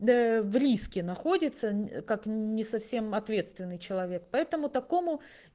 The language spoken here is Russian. да в риске находится как не совсем ответственный человек поэтому такому